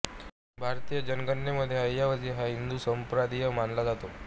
भारतीय जनगणनेमध्ये अय्यावझी हा हिंदू संप्रदाय मानला जातो